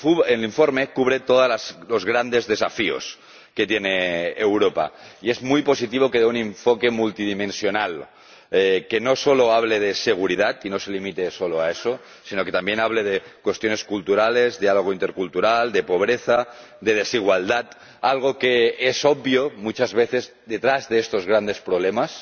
El informe cubre todos los grandes desafíos que tiene Europa y es muy positivo que dé un enfoque multidimensional, que no solo hable de seguridad, que no se limite solo a eso, sino que también hable de cuestiones culturales, de diálogo intercultural, de pobreza y de desigualdad, algo que es obvio muchas veces detrás de estos grandes problemas